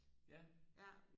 ja